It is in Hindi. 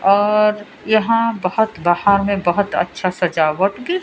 और यहां बहोत बाहर में बहोत अच्छा सजावट की--